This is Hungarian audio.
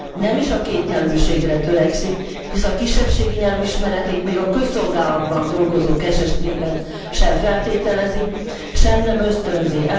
Nem is a kétnyelvűségre törekszik, hisz a kisebbségi nyelv ismeretét még a közszolgálatban dolgozók esetében sem feltételezi, sem nem ösztönzi.